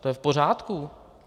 To je v pořádku.